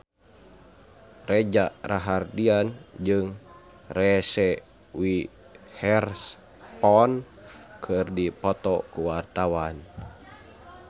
Reza Rahardian jeung Reese Witherspoon keur dipoto ku wartawan